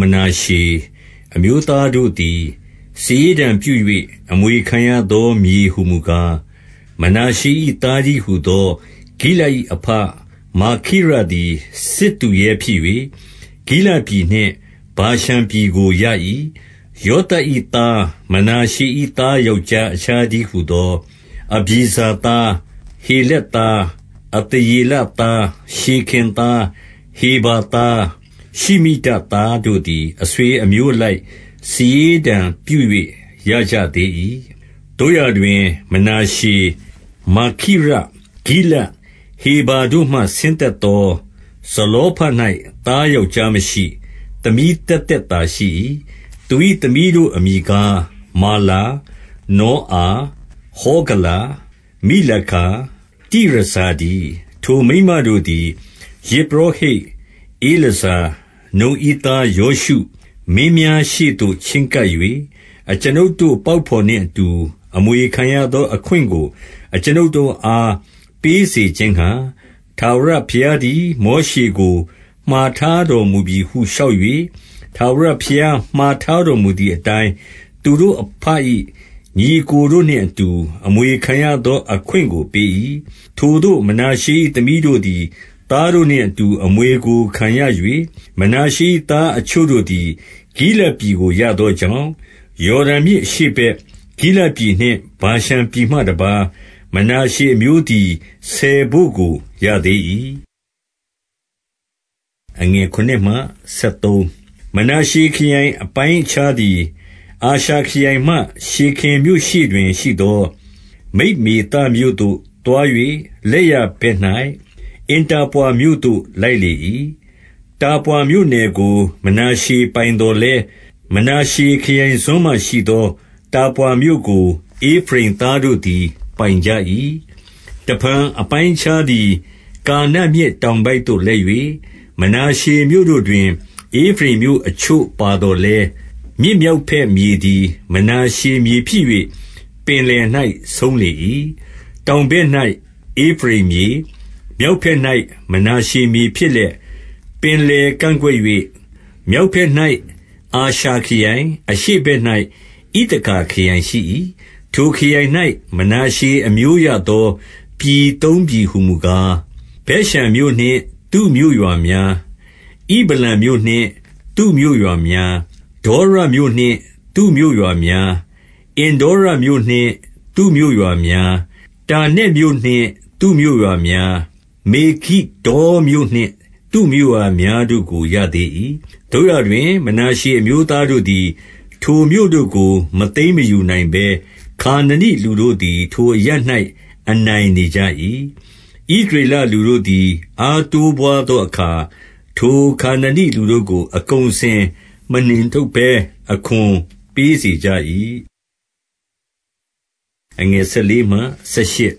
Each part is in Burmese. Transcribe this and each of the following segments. မနာရှေအမျိုးသားတို့သည် စာရေးတံပြု၍ အမွေခံရသော မြေဟူမူကား၊ မနာရှေ၏ သားတည်းဟူသော ဂိလဒ်၏အဘ မာခိရသည် စစ်သူရဲ ဖြစ်၍၊ ဂိလဒ်ပြည်နှင့် ဗာရှန်ပြည်ကိုရ၏။ 2 ယောသပ်၏သား မနာရှေ၏သား ယောက်ျား အခြားတည်းဟူသော အဗျေဇာသား၊ ဟေလက်သား၊ အသရေလသား၊ ရှေခင်သား၊ ဟေဖါသား၊ ရှမိဒသားတို့ သည် အဆွေအမျိုးအလိုက် စာရေးတံပြု၍ ရကြသေး၏။ 3 သို့ရာတွင် မနာရှေ၊ မာခိရ၊ ဂိလဒ်၊ ဟေဖါတို့မှ ဆင်းသက်သော ဇလောဖဒ်၌ သားယောက်ျားမရှိ၊ သမီးသက်သက်သာရှိ၏။ သူ၏သမီးတို့အမည်ကား၊ မာလာ၊ နောအာ၊ ဟောဂလာ၊ မိလကာ၊ တိရဇာတည်း။ 4 ထိုမိန်းမတို့သည် ယဇ်ပုရောဟိတ် ဧလာဇာ၊ နုန်၏သား ယောရှု၊ မင်းများရှေ့သို့ ချဉ်းကပ်၍ အကျွန်ုပ် တို့ပေါက်ဘော်နှင့်အတူ အမွေခံရသောအခွင့်ကို အကျွန်ုပ် တို့အား ပေးစေခြင်းငှါ ထာဝရဘုရားသည် မောရှေကို မှာထားတော်မူပြီဟု လျှောက်၍၊ ထာဝရဘုရား မှာထား တော်မူသည်အတိုင်း သူတို့အဘ၏ ညီအစ်ကိုတို့နှင့်အတူ အမွေခံရသောအခွင့်ကို ပေး၏။ 5 ထိုသို့ မနာရှေ၏သမီးတို့သည် သားတို့နှင့်အတူ အမွေကိုခံရ၍၊ မနာရှေ၏သားအချို့တို့သည် ဂိလဒ်ပြည် ကို ရသောကြောင့်၊ 6 ယော်ဒန်မြစ်အရှေ့ဘက် ဂိလဒ်ပြည် နှင့် ဗာရှန်ပြည်မှတပါး၊ မနာရှေအမျိုးသည် ဆယ်ဘို့ကို ရသေး၏။ 7 မနာရှေခရိုင်အပိုင်းအခြားသည် အာရှာခရိုင်မှ ရှေခင်မြို့ရှေ့တွင်ရှိသော မိတ်မေသမြို့သို့သွား၍ လက်ျာ ဘက်၌ အင်တာပွါမြို့သို့ လိုက်လေ၏။ 8 တာပွါမြို့နယ်ကို မနာရှေပိုင်သော်လည်း၊ မနာ ရှေခရိုင်စွန်းမှာရှိသော တာပွါမြို့ကို ဧဖရိမ်သားတို့သည် ပိုင်ကြ၏။ 9 တဖန် အပိုင်းအခြားသည် ကာနမြစ်တောင် ဘက်သို့လိုက်၍၊ မနာရှေမြို့တို့တွင် ဧဖရိမ်မြို့အချို့ ပါသော်လည်း၊ မြစ်မြောက်ဘက်မြေသည် မနာရှေမြေ ဖြစ်၍ ပင်လယ်၌ဆုံးလေ၏။ 10 တောင်ဘက်၌ ဧဖရိမ်မြေ၊ မြောက်ဘက်၌ မနာ ရှေမြေဖြစ်လျက်၊ ပင်လယ်ကန့်ကွက်၍ မြောက်ဘက်၌ အာရှာခရိုင်၊ အရှေ့ဘက်၌ ဣသခါခရိုင်ရှိ၏။ 11 ထိုခရိုင်၌ မနာရှေအမျိုးရသော ပြည်သုံးပြည်ဟူ မူကား၊ ဗက်ရှန်မြို့နှင့် သူ့မြို့ရွာများ၊ ဣဗလံမြို့နှင့် သူ့မြို့ ရွာများ၊ ဒေါရမြို့နှင့် သူ့မြို့ရွာများ၊ အင်္ဒေါရမြို့နှင့် သူ့မြို့ ရွာများ၊ တာနက်မြို့နှင့် သူ့မြို့ရွာများ၊ မေဂိဒ္ဒေါမြို့နှင့် သူ့မြို့ရွာများတို့ကို ရသေး၏။ 12 သို့ရာတွင် မနာရှေအမျိုးသားတို့သည် ထိုမြို့တို့ ကို မသိမ်းမယူနိုင်ဘဲ၊ ခါနနိလူတို့သည် ထိုအရပ်၌ အနိုင် နေကြ၏။ 13 ဣသရေလလူတို့သည် အားတိုးပွားသောအခါ၊ ထိုခါနနိလူတို့ကို အကုန်အစင်မနှင်ထုတ်ဘဲ အခွန်ပေး စေကြ၏။ 14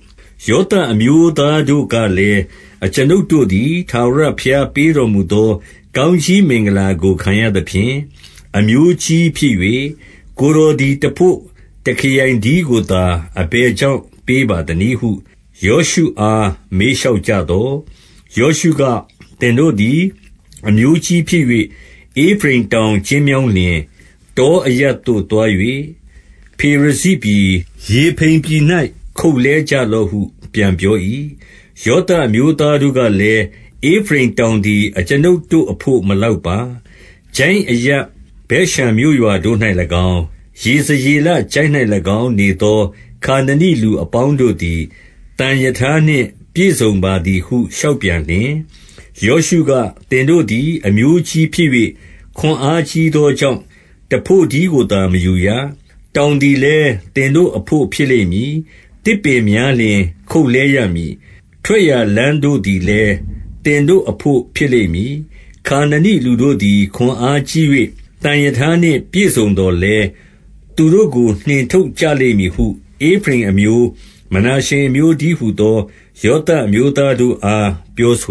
ယောသပ်အမျိုးသားတို့ကလည်း၊ အကျွန်ုပ်တို့ သည် ထာဝရဘုရားပေးတော်မူသော ကောင်းကြီးမင်္ဂလာ ကို ခံရသဖြင့် အမျိုးကြီးဖြစ်၍၊ ကိုယ်တော်သည်တဘို့ တခရိုင်တည်းကိုသာ အဘယ်ကြောင့်ပေးပါသနည်းဟု ယောရှုအား မေးလျှောက်ကြသော်၊ 15 ယောရှုက၊ သင်တို့သည် အမျိုးကြီးဖြစ်၍ ဧဖရိမ်တောင် ကျဉ်းမြောင်းလျှင်၊ တောအရပ်သို့သွား၍ ဖေရဇိပြည်၊ ရေဖိမ်ပြည်၌ ခုတ်လှဲကြလော့ဟု ပြန်ပြော ၏။ 16 ယောသပ်အမျိုးသားတို့ကလည်း၊ ဧဖရိမ်တောင် သည် အကျွန်ုပ်တို့အဘို့ မလောက်ပါ။ ချိုင့်အရပ်ဗက်ရှန် မြို့ရွာတို့၌၎င်း၊ ယေဇရေလချိုင့်၌၎င်း နေသော ခါနနိလူ အပေါင်းတို့သည် သံရထားနှင့် ပြည့်စုံပါသည်ဟု လျှောက် ပြန်လျှင်၊ 17 ယောရှုက၊ သင်တို့သည် အမျိုးကြီးဖြစ်၍ ခွန်အားကြီးသောကြောင့်၊ တဘို့တည်းကိုသာ မယူရ။ 18 တောင်သည်လည်း သင်တို့အဘို့ ဖြစ်လိမ့်မည်။ သစ်ပင်များလျှင် ခုတ်လှဲရမည်။ ထွက်ရာလမ်းတို့သည် လည်း သင်တို့အဘို့ဖြစ်လိမ့်မည်။ ခါနနိလူတို့သည် ခွန်အားကြီး၍ သံရထားနှင့်ပြည့်စုံသော်လည်း၊ သူတို့ကို နှင်ထုတ်ကြလိမ့်မည်ဟု ဧဖရိမ်အမျိုး၊ မနာရှေအမျိုး တည်းဟူသော ယောသပ်အမျိုးသားတို့အား ပြောဆို